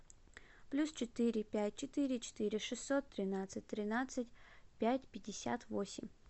плюс четыре пять четыре четыре шестьсот тринадцать тринадцать пять пятьдесят восемь